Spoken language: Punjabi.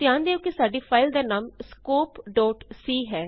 ਧਿਆਨ ਦਿਉ ਕਿ ਸਾਡੀ ਫਾਈਲ ਦਾ ਨਾਮ scopeਸੀ ਹੈ